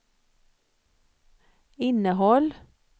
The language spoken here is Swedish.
innehåll